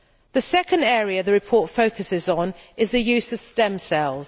The second area the report focuses on is the use of stem cells.